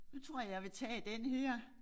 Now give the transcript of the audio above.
Så tror jeg jeg vil tage den her